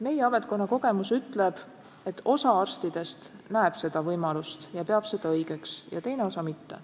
Meie ametkonna kogemus ütleb, et osa arstidest näeb seda võimalust ja peab seda õigeks, teine osa mitte.